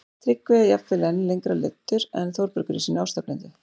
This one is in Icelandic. Tryggvi er jafnvel enn lengra leiddur en Þórbergur í sinni ástarblindu